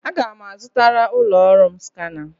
Aga m azụtara ụlọ ọrụ m skana.